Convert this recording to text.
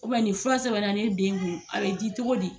nin fura sɛbɛn na ne den kun, a bɛ di cogo di.